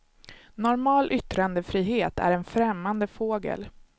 Normal yttrandefrihet är en främmande fågel.